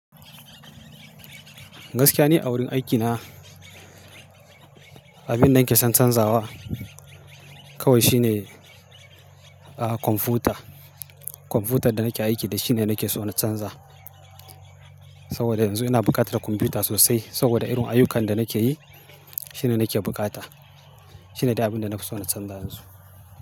Gaskiya ni a wurin aikina, abin da nake son canzawa kawai shine, ah, kwamfuta. Kwamfuta da nake aiki da shi ne nake so na canza. Saboda yanzu ina bukata na kwamfuta sosai saboda irin ayyukan da nake yi shine nake bukata. Shine dai abin da na fi so na canza yanzu.